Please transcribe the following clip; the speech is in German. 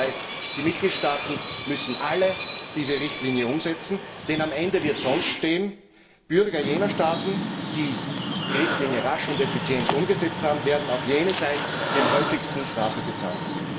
Dies heißt, die Mitgliedstaaten müssen alle diese Richtlinie umsetzen, denn am Ende wird sonst stehen Bürger jener Staaten, die die Richtlinie rasch und effizient umgesetzt haben, werden auch jene sein, die am häufigsten Strafe bezahlen müssen.